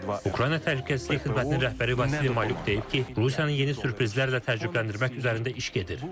Ukrayna təhlükəsizlik xidmətinin rəhbəri Vasili Malyuk deyib ki, Rusiyanın yeni sürprizlərlə təcrübələndirmək üzərində iş gedir.